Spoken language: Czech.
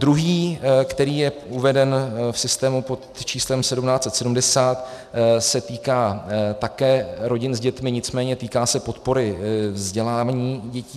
Druhý, který je uveden v systému pod číslem 1770, se týká také rodin s dětmi, nicméně týká se podpory vzdělání dětí.